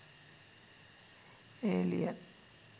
alien